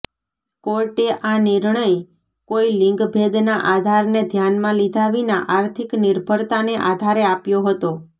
કોર્ટે આ નિર્ણય કોઈ લિંગભેદના આધારને ધ્યાનમાં લીધા વિના આર્થિક નિર્ભરતાને આધારે આપ્યો હતો